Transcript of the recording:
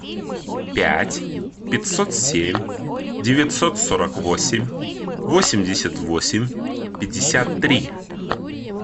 пять пятьсот семь девятьсот сорок восемь восемьдесят восемь пятьдесят три